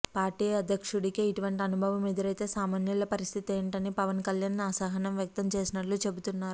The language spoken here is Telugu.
పార్టీ అధ్యక్షుడికే ఇటువంటి అనుభవం ఎదురైతే సామాన్యుల పరిస్థితి ఏమిటని పవన్ కల్యాణ్ అసహనం వ్యక్తం చేసినట్లు చెబుతున్నారు